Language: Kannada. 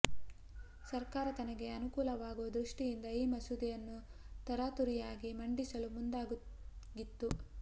ಸರ್ಕಾರ ತನಗೆ ಅನುಕೂಲವಾಗುವ ದೃಷ್ಟಿಯಿಂದ ಈ ಮಸೂದೆಯನ್ನು ತರಾತುರಿಯಾಗಿ ಮಂಡಿಸಲು ಮುಂದಾಗಿತ್ತು